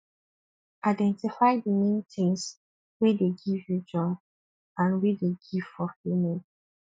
identify di main things wey dey give you joy and wey dey give fulfilment